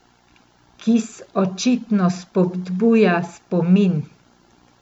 Kis očitno spodbuja spomin.